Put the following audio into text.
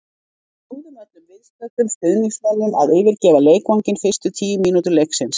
Við bjóðum öllum viðstöddum stuðningsmönnum að yfirgefa leikvanginn fyrstu tíu mínútur leiksins.